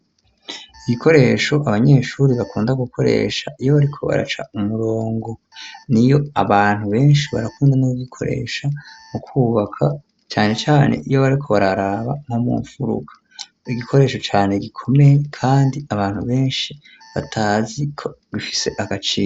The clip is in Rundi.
Ibikoresho abanyeshuri bakunda gukoresha, iyo bariko baraca umurongo, n'iyo abantu benshi barakunda n'ukugikoresha mu kwubaka, cane cane iyo bariko bararaba nko mu mfuruka, igikoresho cane gikomeye, kandi abantu benshi batazi ko gifise agaciro.